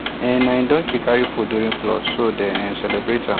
um na him donkey carry food during flood so dem um celebrate am